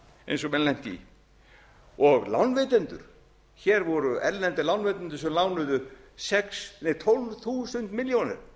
eins og menn lentu í og lánveitendur hér voru erlendir lánveitendur sem lánuðu tólf þúsund milljónir